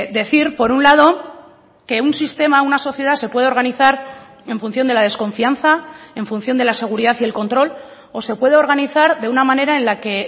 decir por un lado que un sistema una sociedad se puede organizar en función de la desconfianza en función de la seguridad y el control o se puede organizar de una manera en la que